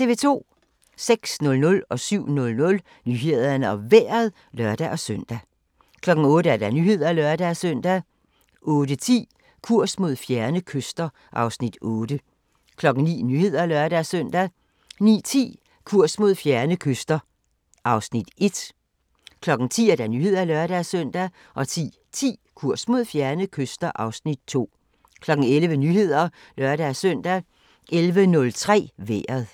06:00: Nyhederne og Vejret (lør-søn) 07:00: Nyhederne og Vejret (lør-søn) 08:00: Nyhederne (lør-søn) 08:10: Kurs mod fjerne kyster (Afs. 8) 09:00: Nyhederne (lør-søn) 09:10: Kurs mod fjerne kyster (Afs. 1) 10:00: Nyhederne (lør-søn) 10:10: Kurs mod fjerne kyster (Afs. 2) 11:00: Nyhederne (lør-søn) 11:03: Vejret